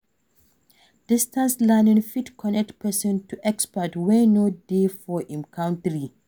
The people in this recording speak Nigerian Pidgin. Distance learning fit connect person to expert wey no dey for im country